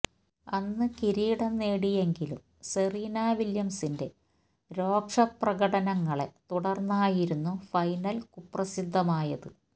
അന്ന് കിരീടം നേടിയെങ്കിലും സെറീന വില്യംസിന്റെ രോക്ഷ പ്രകടനങ്ങളെ തുടര്ന്നായിരുന്നു ഫൈനല് കുപ്രസിദ്ധമായത്